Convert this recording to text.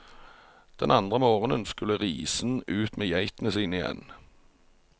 Den andre morgenen skulle risen ut med geitene sine igjen.